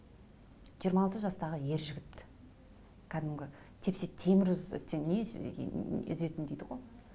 жиырма алты жастаға ер жігіт кәдімгі тепсе темір үзетін дейді ғой